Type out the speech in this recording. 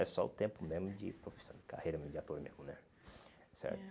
É só o tempo mesmo de profissão de carreira mesmo, de ator mesmo, né? Certo.